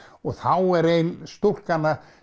og þá er ein stúlkan að